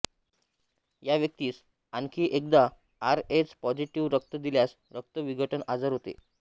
या व्यक्तीस आणखी एकदा आर एच पॉझिटिव्ह रक्त दिल्यास रक्त विघटन आजार होतो